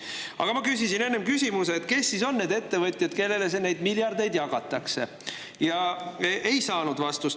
Aga ma küsisin enne küsimuse, kes siis on need ettevõtjad, kellele neid miljardeid jagatakse, ja ei saanud vastust.